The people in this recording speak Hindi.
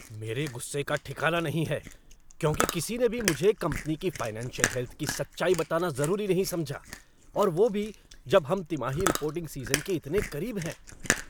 मेरे गुस्से का ठिकाना नहीं है, क्योंकि किसी ने भी मुझे कंपनी की फ़ाइनेंशियल हेल्थ की सच्चाई बताना ज़रूरी नहीं समझा और वह भी जब हम तिमाही रिपोर्टिंग सीज़न के इतने करीब हैं।